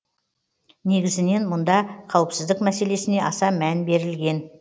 негізінен мұнда қауіпсіздік мәселесіне аса мән берілген